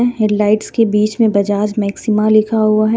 Headlights के बिच मे बजाज मैक्सीमा लिखा हुआ है.